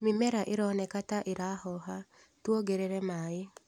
Mimera ironeka ta ĩrahoha, tuongerere maĩ.